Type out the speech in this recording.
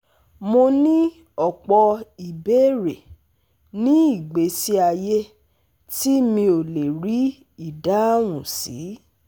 Mo ní ọ̀pọ̀ ìbéèrè nínú ìgbésí ayé tí mi ò lè rí ìdáhùn sí